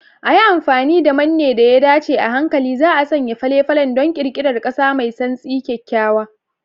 A yi amfani da manne da ya dace, a hankali za'a sanya fale-falen don ƙirƙirar ƙasa mai santsi, kyakkyawa.